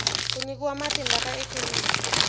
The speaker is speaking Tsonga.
ku nyikiwa matimba ka ikhonomi